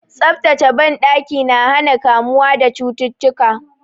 Tsaftataccen banɗaki na hana kamuwa da cututtuka.